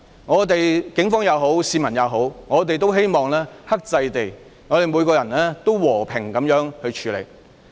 不論是警方也好、市民也好，我也希望大家可以克制，每個人也要和平處理事情。